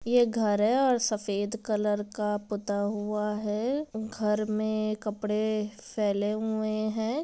ये घर हैऔर सफेद कलर का पुता हुआ है घर में कपड़े फैले हुए हैं।